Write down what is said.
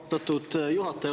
Austatud juhataja!